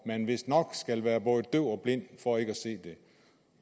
man vistnok skal være både døv og blind for ikke